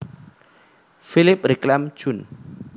Philipp Reclam jun